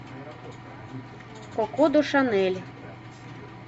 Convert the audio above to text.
коко до шанель